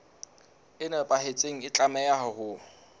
e nepahetseng e tlameha ho